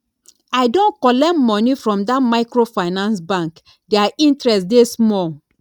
i don collect moni from dat microfinance bank their interest dey small